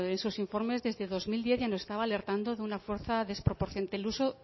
esos informes desde dos mil diez ya nos estaba alertando de una fuerza del uso